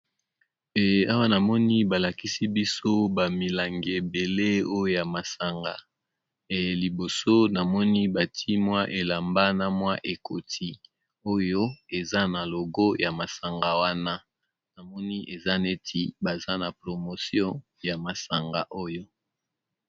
Awa namoni balakisi biso bamilanga ebele oyo ya masanga liboso namoni bantimwa elamba na mwa ekoti oyo eza na logo ya masanga wana namoni eza neti baza na promotio ya masanga oyo.